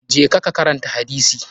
Je ka karanta hadisi!